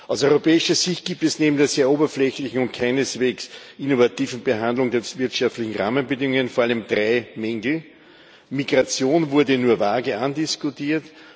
Aus europäischer Sicht gibt es neben der sehr oberflächlichen und keineswegs innovativen Behandlung der wirtschaftlichen Rahmenbedingungen vor allem drei Mängel Migration wurde nur vage andiskutiert